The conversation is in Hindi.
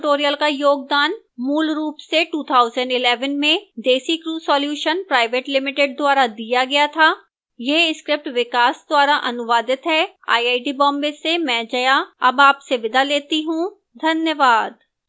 इस tutorial का योगदान मूलरूप से 2011 में desicrew solutions pvt ltd द्वारा दिया गया था यह स्क्रिप्ट विकास द्वारा अनुवादित है आईआईटी बॉम्बे से मैं जया अब आपसे विदा लेती हूं धन्यवाद